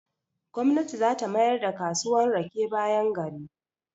Gwamnati zata mayar da kasuwan rake bayan gari.